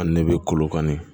Ani ne bɛ kolokani